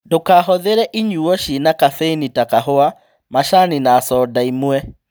Ndũkahũthĩre inyuo ciĩna kabeini ta kahũa, macani na coda imwe